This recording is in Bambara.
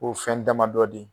Ko fɛn damadɔ di.